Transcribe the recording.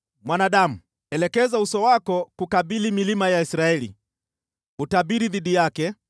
“Mwanadamu, elekeza uso wako kukabili milima ya Israeli, utabiri dhidi yake